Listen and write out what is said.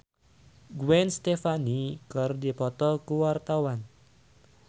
Pamela Bowie jeung Gwen Stefani keur dipoto ku wartawan